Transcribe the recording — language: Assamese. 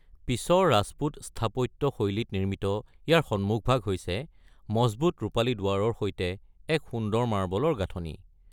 পিছৰ ৰাজপুত স্থাপত্য শৈলীত নিৰ্মিত, ইয়াৰ সন্মুখভাগ হৈছে মজবুত ৰূপালী দুৱাৰৰ সৈতে এক সুন্দৰ মাৰ্বলৰ গাঁথনি।